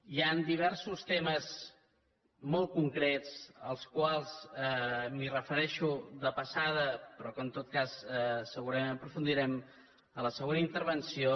hi han diversos temes molt concrets als quals em refereixo de passada però que en tot cas segurament aprofundirem en la següent intervenció